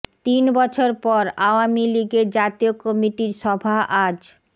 তিন বছর পর আওয়ামী লীগের জাতীয় কমিটির সভা আজ